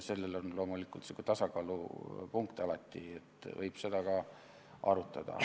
Siin on loomulikult sihuke tasakaalupunkt alati, seda võib ka arutada.